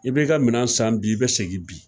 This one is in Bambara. I b'i ka minan san bi i bɛ segin bi.